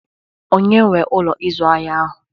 Onye nwee Ụlọ ịzụ ahịa ahụ?